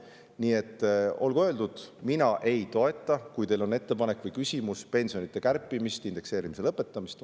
Nii et olgu öeldud: mina ei toeta, kui teil on ettepanek või küsimus, pensionide kärpimist, indekseerimise lõpetamist.